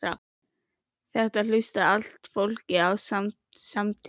Þetta hlustaði allt fólkið á samtímis.